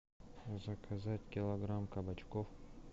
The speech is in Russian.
заказать килограмм кабачков